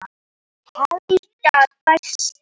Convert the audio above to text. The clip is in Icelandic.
Helga dæsti.